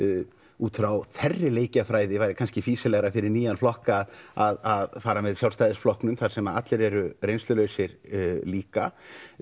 út frá þeirri leikjafræði væri kannski fýsilegra fyrir nýjann flokk að að fara með Sjálfstæðisflokknum þar sem allir eru reynslulausir líka